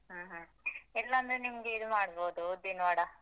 ಹ್ಮ ಹ್ಮ ಇಲ್ಲಾಂದ್ರೆ ನಿಮ್ಗೆ ಇದ್ ಮಾಡ್ಬೋದು ಉದ್ದಿನ್ ವಡ.